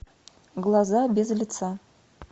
глаза без лица